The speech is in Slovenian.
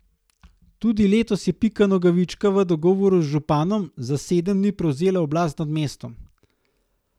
Tudi letos je Pika Nogavička v dogovoru z županom, za sedem dni prevzela oblast nad mestom.